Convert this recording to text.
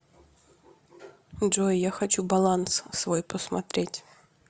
джой я хочу баланс свой посмотреть